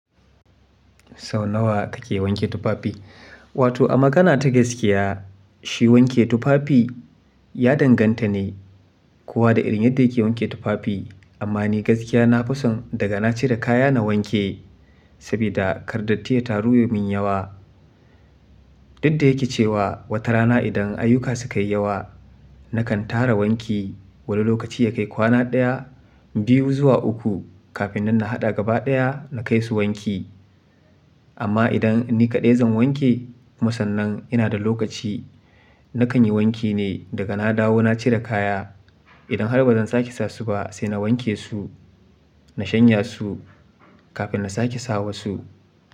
Sau nawa kake wanke tufafi? Wato a magana ta gaskiya, shi wanke tufafi ya danganta ne kuwa da irin yadda yake wanke tufafi. Amma ni gaskiya nafi son daga na cire kaya na wanke saboda ƙar datti ya taru ya min yawa. Dukda yake cewa wata rana idan ayyuka sukayi yawa nakan tara wanki wani lokaci ya kai kwana ɗaya, biyu zuwa uku kafin nan na haɗa gaba ɗaya na kai su wanki. Amma idan ni kaɗai zan wanke, kuma sannan ina da lokaci nakan yi wanki ne daga na dawo na cire kaya. Idan har bazan sake sasu ba sai na wanke su, na shanya su kafin na sake sawa su.